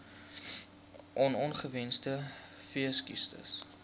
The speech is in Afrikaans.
on ongewenste veesiektes